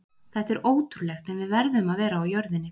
Þetta er ótrúlegt en við verðum að vera á jörðinni.